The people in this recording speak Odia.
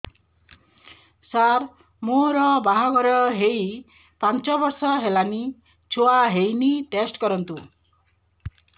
ସାର ମୋର ବାହାଘର ହେଇ ପାଞ୍ଚ ବର୍ଷ ହେଲାନି ଛୁଆ ହେଇନି ଟେଷ୍ଟ କରନ୍ତୁ